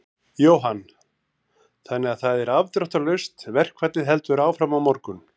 Jóhann: Þannig að það er afdráttarlaust, verkfallið heldur áfram á morgun?